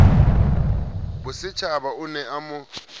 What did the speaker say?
bosetjhaba o ne a mo